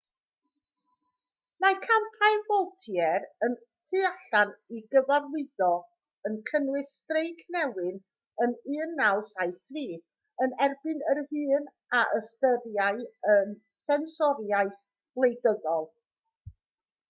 mae campau vaultier y tu allan i gyfarwyddo yn cynnwys streic newyn yn 1973 yn erbyn yr hyn a ystyriai yn sensoriaeth wleidyddol